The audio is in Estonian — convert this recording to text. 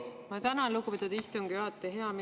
Ma tänan, lugupeetud istungi juhataja!